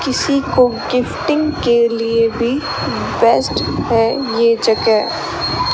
किसी को गिफ्टिंग के लिए भी बेस्ट है ये जगह--